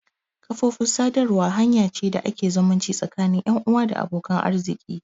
Kafofin sadarwa hanya ce da ake zumunci tsakanin 'yan uwa da abokan arziki.